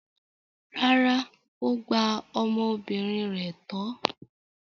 Rárá, ó gba ọmọbìnrin rẹ̀ tọ́.